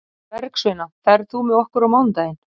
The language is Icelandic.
Bergsveina, ferð þú með okkur á mánudaginn?